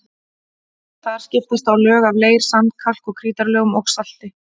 Þar skiptast á lög af leir-, sand-, kalk- og krítarlögum og salti.